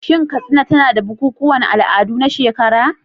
Shin Katsina tana da bukukuwan al'adu na shekara?